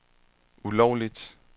ulovligt